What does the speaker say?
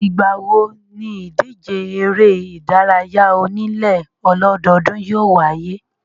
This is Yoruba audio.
Ìgbà wo níìdíje eré ìdárayá onílé ọlọ́dọọ́dún yóò wáyé?